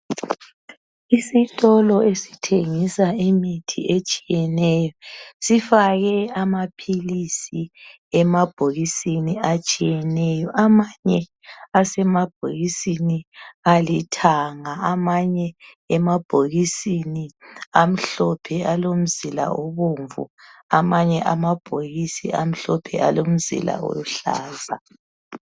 Isitolo esithengisa imithi etshiyeneyo sifake amaphilisi emabhokisini atshiyeneyo. Amanye asemabhokisini alithanga, amanye amhlophe alomzila obomvu, amanye amhlophe alomzila oluhlaza.